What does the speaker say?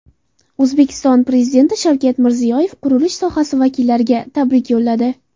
O‘zbekiston Prezidenti Shavkat Mirziyoyev qurilish sohasi vakillariga tabrik yo‘lladi.